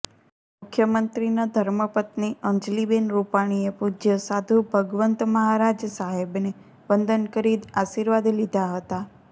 મુખ્યમંત્રીના ધર્મપત્ની અંજલિબેન રૂપાણીએ પૂજ્ય સાધુ ભગવંત મહારાજ સાહેબને વંદન કરી આશીર્વાદ લીધા હતા